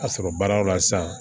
A sɔrɔ baaraw la sisan